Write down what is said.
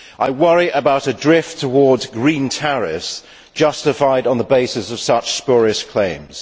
I worry about a drift towards green tariffs justified on the basis of such spurious claims.